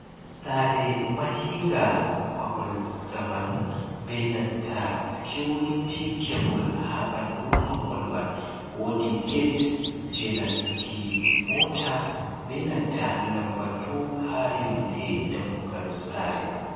Sare mahinga mahol zamanu, benanta sikiuriti kebule ha ɓandu maholman, wodi gate genastuki mota benanta lambatu ha yonde dammugal sareman.